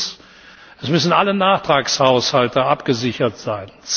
1. Es müssen alle Nachtragshaushalte abgesichert sein.